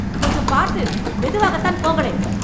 கொஞ்சம் பார்த்து மெதுவாகத்தான் போங்களேன்